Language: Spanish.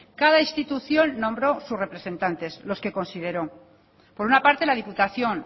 cada institución nombró su representante los que consideró por una parte la diputación